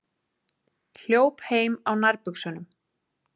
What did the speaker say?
Hljóp heim á nærbuxunum